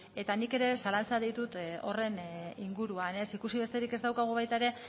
eta nik ere zalantzak ditut horren inguruan ikusi besterik ez daukagu baita ere